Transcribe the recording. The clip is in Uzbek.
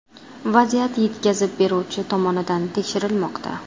Vaziyat yetkazib beruvchi tomonidan tekshirilmoqda.